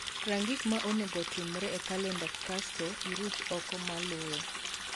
Rang gik ma onego otimre e kalenda kasto iruch oko maluwe